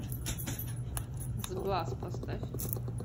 сглаз поставь